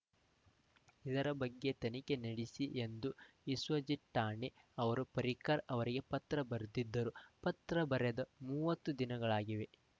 ಇದರ ಬಗ್ಗೆ ತನಿಖೆ ನಡೆಸಿ ಎಂದು ವಿಶ್ವಜಿತ್‌ ರಾಣೆ ಅವರು ಪರ್ರಿಕರ್‌ ಅವರಿಗೆ ಪತ್ರ ಬರೆದಿದ್ದರು ಪತ್ರ ಬರೆದು ಮೂವತ್ತು ದಿನಗಳಾಗಿವೆ